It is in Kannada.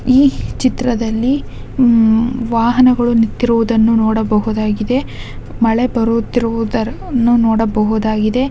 ಚಿತ್ರದಲ್ಲಿ ಹುಮ್ಮ್ ವಾಹನ ಗಲ್ಲನು ನಿಂತಿರುವು ದನ್ನು ನೋಡಬಹುದಾಗಿದೆ ಮಳೆ ಬರುತ್ತಿರುವ ದನ್ನು ನೋಡ ಬಹುದಾಗಿದೆ ಮೂವರು ಉಮ್ ಮಹಿಳೆಯರು ಛತ್ರಿ ಹಿಡಿದು ನಡಿಯುತ್ತಿರುವುದನ್ನು ಮತ್ತು ಚಿಕ್ಕ ಗಿಡ ಮರಗಳ್ಳನು ಈ ಚಿತ್ರದಲ್ಲಿ ನಾವು ಕಾಣಬಹುದಾಗಿದೆ.